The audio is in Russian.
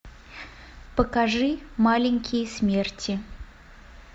покажи маленькие смерти